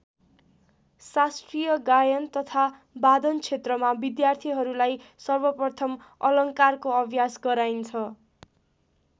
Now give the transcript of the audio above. शास्त्रीय गायन तथा वादन क्षेत्रमा विद्यार्थीहरूलाई सर्वप्रथम अलङ्कारको अभ्यास गराइन्छ।